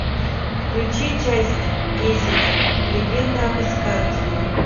включи часть десять легенда об искателе